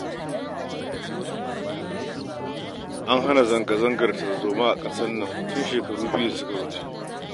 An hana zanga-zangar tarzoma a ƙasar nan tun shekaru biyu da suka wuce